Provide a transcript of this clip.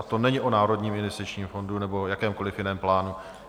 A to není o Národním investičním plánu nebo jakémkoliv jiném plánu.